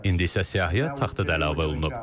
İndi isə siyahıya taxtı da əlavə olunub.